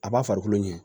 A b'a farikolo ɲɛ